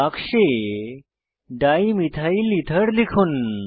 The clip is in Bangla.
বাক্সে ডাইমিথাইলেথের লিখুন